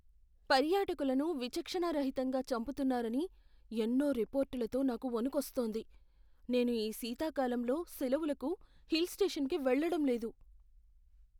పర్యాటకులను విచక్షణారహితంగా చంపుతున్నారని ఎన్నో రిపోర్టులతో నాకు వణుకొస్తోంది, నేను ఈ శీతాకాలంలో సెలవులకు హిల్ స్టేషన్కి వెళ్లడం లేదు.